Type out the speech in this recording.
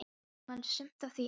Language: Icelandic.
Ég man sumt af því ennþá.